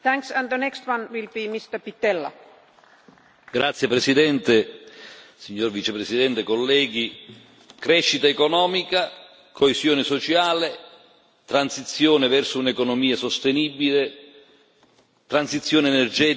Signor Presidente, onorevoli colleghi, signor Vicepresidente, crescita economica, coesione sociale, transizione verso un'economia sostenibile, transizione energetica, ambiente, riduzione del deficit e del debito attraverso la crescita questo serve all'Europa.